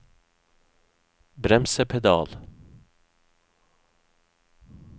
bremsepedal